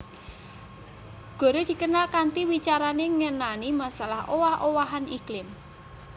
Gore dikenal kanthi wicarané ngenani masalah owah owahan iklim